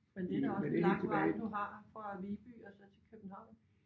Men det er da også en lang vej du har fra Viby og så til København